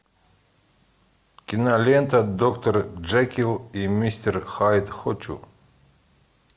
кинолента доктор джекилл и мистер хайд хочу